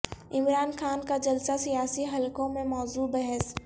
عمران خان کا جلسہ سیاسی حلقوں میں موضوع بحث